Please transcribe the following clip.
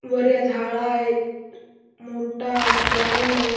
वर या झाला आहेत मोठा ग्राउंड आहे.